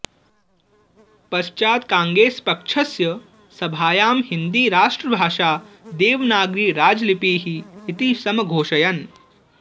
पश्चात् काङ्गेस् पक्षस्य सभायां हिन्दी राष्ट्रभाषा देवनागरी राजलिपिः इति समघोषयन्